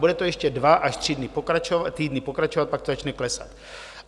Bude to ještě dva až tři týdny pokračovat, pak to začne klesat.